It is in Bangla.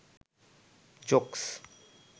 জোকস্